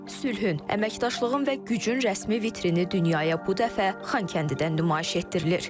Sülhün, əməkdaşlığın və gücün rəsmi vitrini dünyaya bu dəfə Xankəndidən nümayiş etdirilir.